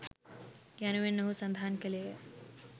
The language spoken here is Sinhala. " යනුවෙන් ඔහු සඳහන් කළේය.